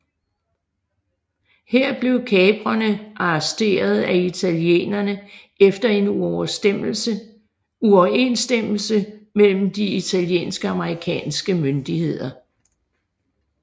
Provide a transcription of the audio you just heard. Her blev kaprerne arresteret af italienerne efter en uoverenstemmelse mellem de italienske og amerikanske myndigheder